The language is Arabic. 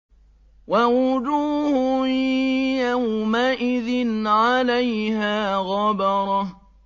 وَوُجُوهٌ يَوْمَئِذٍ عَلَيْهَا غَبَرَةٌ